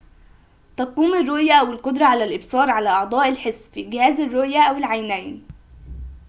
تقوم الرؤية أو القدرة على الإبصار على أعضاء الحس في جهاز الرؤية أو العينين